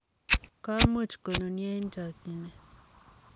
komuch konunio eng chokyinet.